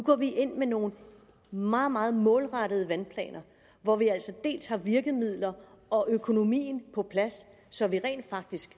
ind med nogle meget meget målrettede vandplaner hvor vi har virkemidlerne og økonomien på plads så vi rent faktisk